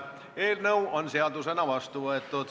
Eelnõu on seadusena vastu võetud.